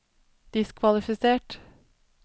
diskvalifisert